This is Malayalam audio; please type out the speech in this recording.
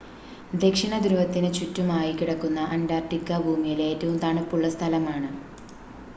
ദക്ഷിണധ്രുവത്തിന് ചുറ്റുമായി കിടക്കുന്ന അൻ്റാർട്ടിക്ക ഭൂമിയിലെ ഏറ്റവും തണുപ്പുള്ള സ്ഥലമാണ്